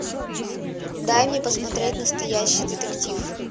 дай мне посмотреть настоящий детектив